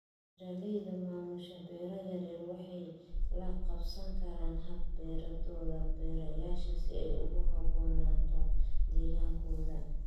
Beeralayda maamusha beero yaryar waxay la qabsan karaan hab-beeradooda beerashada si ay ugu habboonaato deegaankooda.